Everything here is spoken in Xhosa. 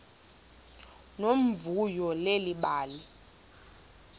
nomvuyo leli bali